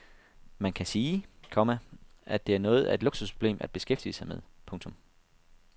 Man kan sige, komma at det er noget af et luksusproblem at beskæftige sig med. punktum